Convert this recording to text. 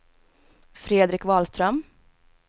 Fredrik Wahlström